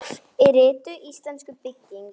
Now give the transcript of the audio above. Í ritinu Íslensk bygging